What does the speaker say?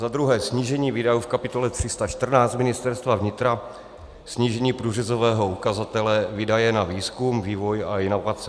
Za druhé snížení výdajů v kapitole 314 Ministerstva vnitra, snížení průřezového ukazatele výdaje na výzkum, vývoj a inovace.